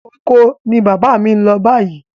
Oko ni bàbá mi ń lọ báyìí.